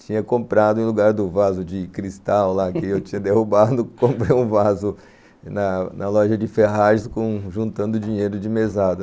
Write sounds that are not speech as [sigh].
tinha comprado, em lugar do vaso de cristal lá [laughs] que eu tinha derrubado, comprei um vaso na loja de ferragens juntando dinheiro de mesada.